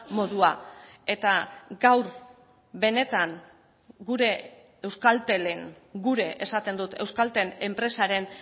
modua eta gaur benetan gure euskaltelen gure esaten dut euskaltel enpresaren